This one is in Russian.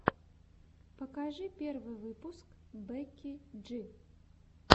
покажи первый выпуск бекки джи